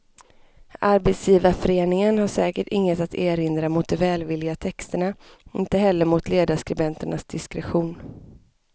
Arbetsgivarföreningen har säkert inget att erinra mot de välvilliga texterna, inte heller mot ledarskribenternas diskretion.